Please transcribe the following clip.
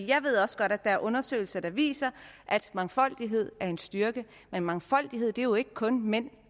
jeg ved også godt at der er undersøgelser der viser at mangfoldighed er en styrke men mangfoldighed er jo ikke kun mænd